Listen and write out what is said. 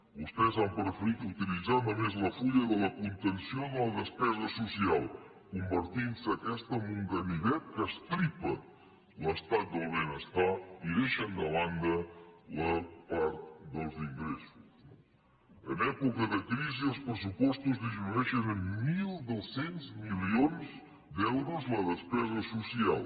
vostès han preferit utilitzar només la fulla de la contenció de la despesa social i s’ha convertit aquesta en un ganivet que estripa l’estat del benestar i deixa de banda la part dels ingressos no en època de crisi els pressupostos disminueixen en mil dos cents milions d’euros la despesa social